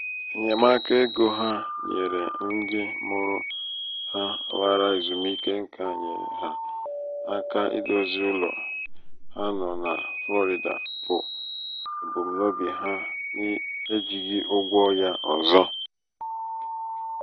enyemaka égo ha nyere ndị mụrụ ha lara ezumike nká nyeere ha aka idozi ụlọ ha nọ na flọrịda bụ ebumnobi ha n'ejighị ụgwọ ya ọzọ.